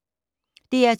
DR2